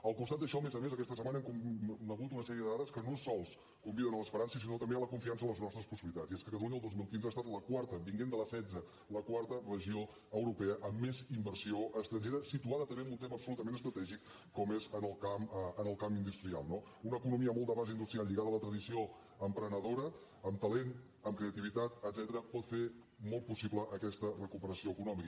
al costat d’això a més a més aquesta setmana hem conegut una sèrie de dades que no sols conviden a l’esperança sinó també a la confiança en les nostres possibilitats i és que catalunya el dos mil quinze ha estat la quarta venint de la setzena la quarta regió europea amb més inversió estrangera situada també en un tema absolutament estratègic com és en el camp industrial no una economia molt de base industrial lligada a la tradició emprenedora amb talent amb creativitat etcètera pot fer molt possible aquesta recuperació econòmica